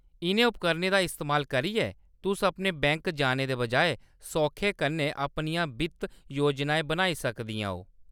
इʼनें उपकरणें दा इस्तेमाल करियै, तुस अपने बैंक जाने दे बजाए सौखै कन्नै अपनियां वित्ती योजना बनाई सकदियां ओ।